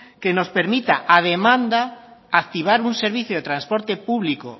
que nos permita a demanda activar un servicio de transporte público